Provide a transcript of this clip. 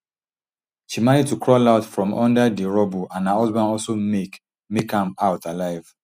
she manage to crawl out from under di rubble and her husband also make make am out alive